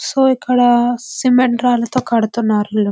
So ఇక్కడ cement రాళ్లతో కడుతున్నారు ఇల్లు.